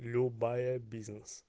любая бизнес